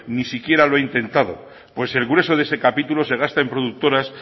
ni siquiera lo ha intentado pues el grueso de ese capítulo se gasta en productoras